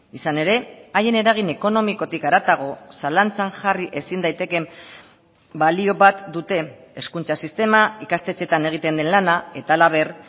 izan ere haien eragin ekonomikotik haratago zalantzan jarri ezin daitekeen balio bat dute hezkuntza sistema ikastetxeetan egiten den lana eta halaber